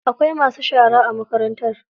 Akwai masu shara a makarantar.